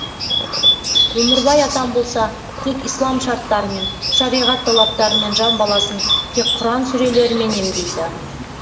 өмірбай атам болса тек ислам шарттарымен шариғат талаптарымен жан баласын тек құран сүрелерімен емдейді